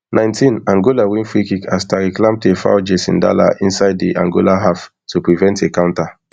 nineteenangola win freekick as tariq lamptey foul jason dala insid edi angola half to prevent a counter